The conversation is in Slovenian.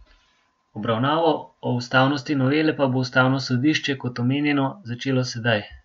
Obravnavo o ustavnosti novele pa bo ustavno sodišče, kot omenjeno, začelo sedaj.